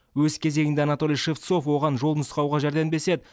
өз кезегінде анатолий шевцов оған жол нұсқауға жәрдемдеседі